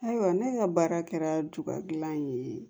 Ayiwa ne ka baara kɛra juba gilan ye